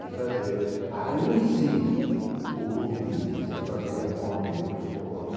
de fazer aí, sim, o pontirfice, fazer a ponte entre os povos.